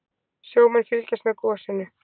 Sjómenn fylgjast með gosinu